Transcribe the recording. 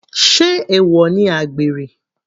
Sé èwọ̀ ni àgbèrè?